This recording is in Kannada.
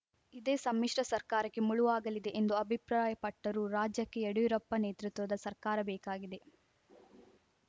ಇದೇ ಸಮ್ಮಿಶ್ರ ಸರ್ಕಾರಕ್ಕೆ ಮುಳುವಾಗಲಿದೆ ಎಂದು ಅಭಿಪ್ರಾಯಪಟ್ಟರು ರಾಜ್ಯಕ್ಕೆ ಯಡಿಯೂರಪ್ಪ ನೇತೃತ್ವದ ಸರ್ಕಾರ ಬೇಕಾಗಿದೆ